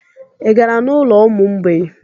Ị gara n'ụlọ ụmụ mgbei?